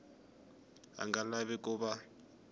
a nga lavi ku va